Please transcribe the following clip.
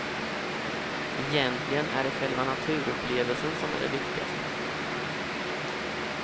Egentligen är det själva naturupplevelsen som är det viktigaste.